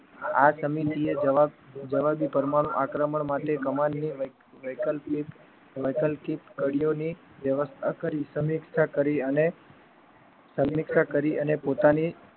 આ સમિતિએ જવાબ જવાબી પરમાણુ આક્રમણ માટે કમાલની વૈકલ્પિક વૈકલ્પિક કડીઓની વ્યવસ્થા કરી સમીક્ષા કરી અને સમીક્ષા કરી અને પોતાની